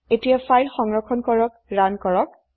এতিয়া ফাইল সংৰক্ষণ কৰে ৰান কৰক